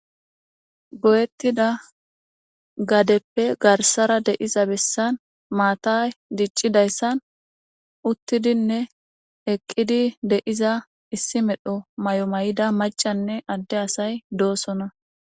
goyettida gadeppe garsara deiza bessan maatay diccidayssan uttidinne eqqidi deiza issi medho may7o may7ida macanne adde asay doosona